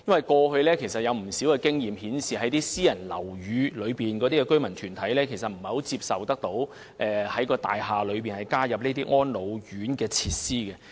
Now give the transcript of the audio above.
過去有不少經驗顯示，私人樓宇的居民團體其實不太接受在其大廈提供安老服務設施。